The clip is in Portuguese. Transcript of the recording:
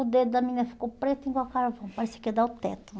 O dedo da menina ficou preto igual carvão, parecia que ia dar o teto.